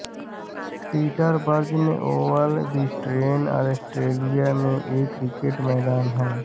Peter Burge Oval Brisbane Australia में एक cricket मैदान है